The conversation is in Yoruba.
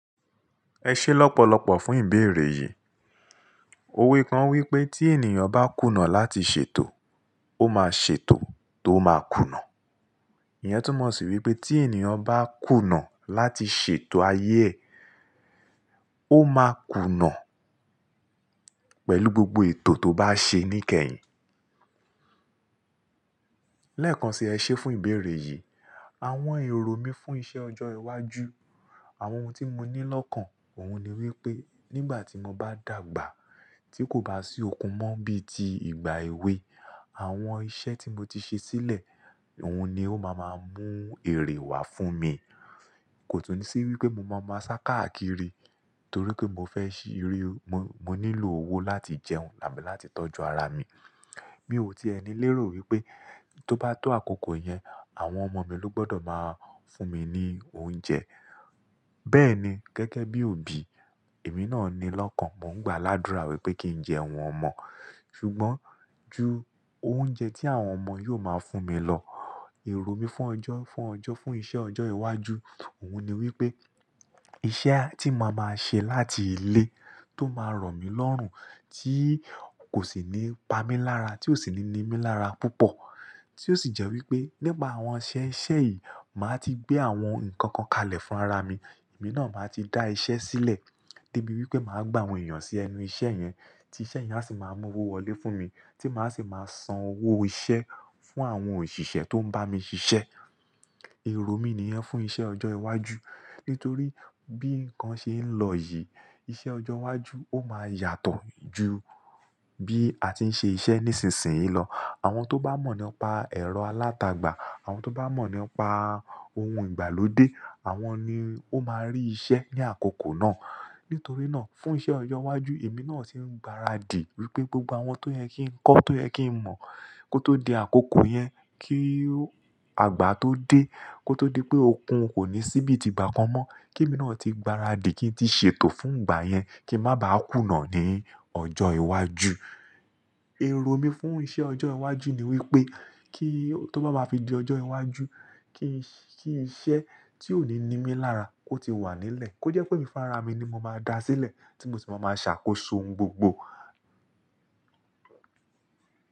Ẹ ṣé lọ́pọ̀lọ́pọ̀ fún ìbéèrè yìí. Òwe kan wí pé tí ènìyàn bá kùnà láti ṣètò, ó máa ṣètò tó máa kùnà. Ìyẹn túmọ̀ sí wípé tí ènìyàn bá kùnà láti ṣètò ayé ẹ̀, ó máa kùnà pẹ̀lú gbogbo ètò tó bá ṣe ní kẹyìn. Lẹ́ẹ̀kan ṣi ẹ ṣé fún ìbéèrè yìí, àwọn èrò mí fún iṣẹ́ ọjọ́ iwájú, àwọn ohun tí mo ní lọ́kàn, òhun ni wípé nígbà tí mo bá dàgbà tí kò bá sí okun mọ bíi ti ìgbà èwe, àwọn iṣẹ́ tí mo ti ṣe sílẹ̀, òhun ni ó máa máa mú èrè wá fún mi. Kò tún sí wípé mo máa máa ṣákàákiri torí pé mo fẹ́ ṣí iré, mo, mo nílò owó láti jẹun làbí láti tọ́jú ara mi. Mi ò ti ẹni lérò wípé tó bá tó àkókò yẹn, àwọn ọmọ mi ló gbọdọ̀ máa fún mi ní oúnjẹ. Bẹ́ẹ̀ ni gẹ́gẹ́ bí òbí, èmi náà ni lọ́kàn, mò ń gbá ládùrá wípé kí n jẹun ọmọ. Ṣùgbọ́n ju oúnjẹ tí àwọn ọmọ yóò máa fún mi lọ, èrò mi fún ọjọ́, fún ọjọ́, fún iṣẹ́ ọjọ́ iwájú, òhun ni wípé iṣẹ́ tí mo máa ṣe láti ilé tó máa rọ̀ mí lọ́rùn tí kò sì ní pa mí lára, tí ò sì ní ní mí lára púpọ̀, tí ó sì jẹ́ wípé nípa àwọn iṣẹ́ ìṣẹ́ yìí, màá ti gbé àwọn nǹkan kan kalẹ̀ fún ara mi. Èmi náà máa ti dá iṣẹ́ sílẹ̀ débi wípé màá gbà àwọn èèyàn sí ẹnu iṣẹ́ yẹn, tí iṣẹ́ yẹn á sì máa mú owó wọlé fún mi, tí màá sì máa san owó iṣẹ́ fún àwọn òṣìṣẹ́ tó ń bá mi ṣiṣẹ́. Èrò mí níyẹn fún iṣẹ́ ọjọ́ iwájú. Nítorí bí nǹkan ṣe ń lọ yìí, iṣẹ́ ọjọ́ iwájú ó máa yàtọ̀ ju bí a ti ń ṣe iṣẹ́ nísinsìnyí lọ. Àwọn tó bá mọ̀ nípa ẹ̀rọ alátagbà, àwọn tó bá mọ̀ nípa ohun ìgbàlódé, àwọn ni ó máa rí iṣẹ́ ní àkókò náà. Nítorí náà fún iṣẹ́ ọjọ́ iwájú, èmi náà sì ń gbaradì wípé gbogbo àwọn tó yẹ kí n kọ́, tó yẹ kí n mọ̀ kó tó di àkókò yẹn, kí àgbà tó dé, kó tó di pé okun kò ní síbí ti gbákan mọ, kí èmi náà ti gbaradì kí n ti ṣètò fún ìgbà yẹn, kí n má ba á kùnà ní ọjọ́ iwájú. Èrò mi fún iṣẹ́ ọjọ́ iwájú ni wípé kí tó bá máa fi di ọjọ́ iwájú, kí iṣẹ́ tí ò ní ní mí lára kó ti wà nílẹ̀, kó jẹ́ pé mi fún ara mi ni mo máa dá sílẹ̀ tí mo sì máa máa ṣàkóso òun gbogbo.